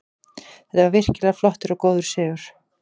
Þetta var virkilega flottur og góður sigur.